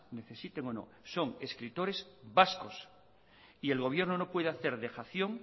necesiten o no son escritores vascos y el gobierno no puede hacer dejación